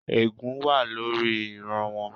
Ègún wà lórí ìran wọn